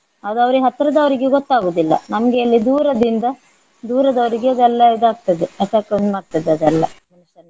ಅದು ಅವ್ರಿಗೆ ಹತ್ರದವರಿಗೆ ಗೊತ್ತಾಗುದಿಲ್ಲ ನಮ್ಗೆ ಇಲ್ಲಿ ದೂರದಿಂದ ದೂರದವರಿಗೆ ಇದೆಲ್ಲಾ ಇದಾಗ್ತದೆ effect ಆಗ್ತದೆ ಅದೆಲ್ಲ tension .